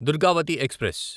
Durgavati express